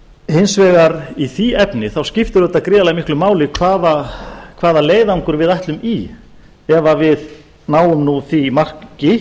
hins vegar í því efni skiptir auðvitað gríðarlega miklu máli hvaða leiðangur við ætlum í ef við náum nú því marki